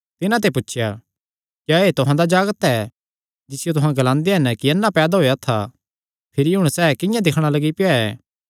तिन्हां ते पुछया क्या एह़ तुहां दा जागत ऐ जिसियो तुहां ग्लांदे हन कि अन्ना पैदा होएया था भिरी हुण सैह़ किंआं दिक्खणा लग्गी पेआ ऐ